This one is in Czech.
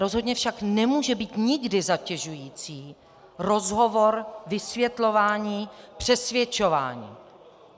Rozhodně však nemůže být nikdy zatěžující rozhovor, vysvětlování, přesvědčování.